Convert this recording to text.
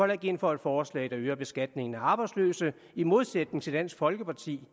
ikke ind for et forslag der øger beskatningen af arbejdsløse i modsætning til dansk folkeparti